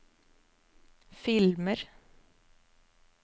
filmer